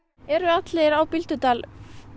eru allir á Bíldudal